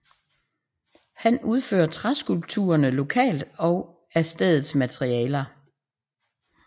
Han udfører træskulpturerne lokalt og af stedets materialer